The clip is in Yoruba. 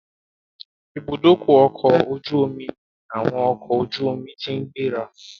Ìbúdókọ̀ ọ̀kọ̀ ojú omi ní àwọn ọkọ̀ ojú omi ti ń gbéra